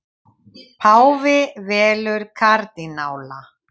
Páfi velur kardínála